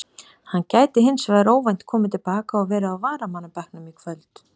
Hann gæti hins vegar óvænt komið til baka og verið á varamannabekknum í kvöld.